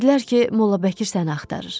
Dedilər ki, mollabəkir səni axtarır.